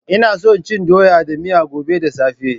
Ina son cin doya da miya gobe da safe.